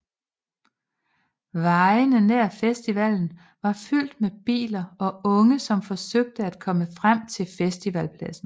Vejene nær festivalen var fyldt med biler og unge som forsøgte at komme frem til festivalpladsen